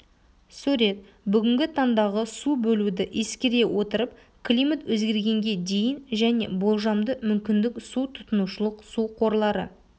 сурет бүгінгі таңдағы су бөлуді ескере отырып климат өзгергенге дейін және болжамды мүмкіндік су тұтынушылық су қорлары